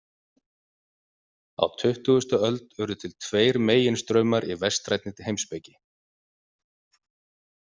Á tuttugustu öld urðu til tveir meginstraumar í vestrænni heimspeki.